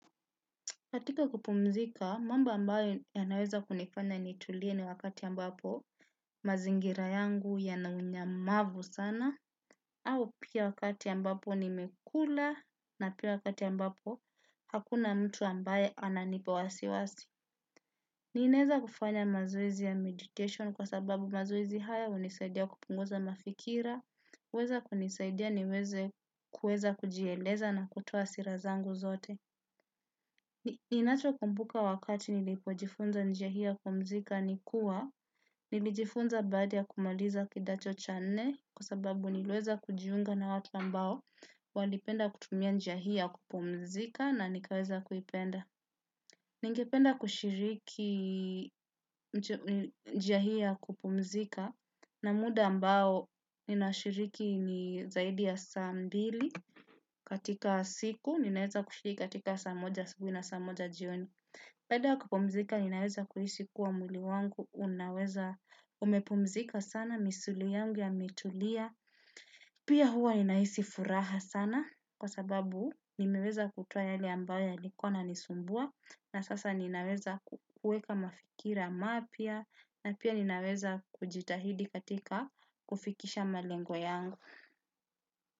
Katika kupumzika, mambo ambayo yanaweza kunifanya nitulie ni wakati ambapo mazingira yangu yanaunyamavu sana, au pia wakati ambapo nimekula na pia wakati ambapo hakuna mtu ambaye ananipa wasiwasi. Ninaeza kufanya mazoezi ya meditation kwa sababu mazoezi haya unisaidia kupunguza mafikira, uweza kunisaidia niweze kuweza kujieleza na kutoa hasira zangu zote. Ninachokumbuka wakati nilipojifunza njia hii ya kupumzika ni kua, nilijifunza baada ya kumaliza kidato cha nne kwa sababu niliweza kujiunga na watu ambao walipenda kutumia njia hii ya kupumzika na nikaweza kuipenda. Ningependa kushiriki njia hii ya kupumzika na muda ambao ninashiriki ni zaidi ya saa mbili katika siku, ninaweza kushiriki katika saa moja siku na saa moja jioni. Baada ya kupumzika ninaweza kuhisi kuwa mwili wangu, unaweza umepumzika sana misuli yangu imetulia, pia huwa ninahisi furaha sana kwa sababu nimeweza kutoa yale ambayo yalikuwa yananisumbua na sasa ninaweza kuweka mafikira mapya na pia ninaweza kujitahidi katika kufikisha malengo yangu.